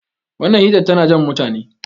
wannan helitar tana Jan mutane